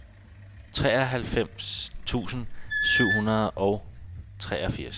treoghalvfems tusind syv hundrede og treogfirs